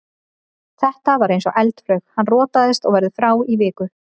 Þetta var eins og eldflaug, hann rotaðist og verður frá í viku.